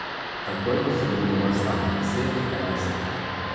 Takoj, ko so bili dovolj stari, deset, enajst let.